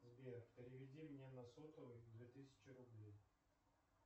сбер переведи мне на сотовый две тысячи рублей